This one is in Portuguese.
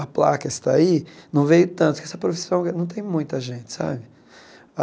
A placa está aí, não veio tanto, porque essa profissão não tem muita gente, sabe?